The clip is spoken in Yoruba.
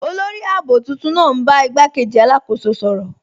Olórì ààbò tuntun naa n bá igbàkéjì alákóso sọ̀rọ.